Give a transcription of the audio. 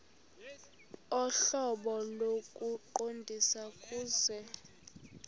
ohlobo lokuqondisa kuse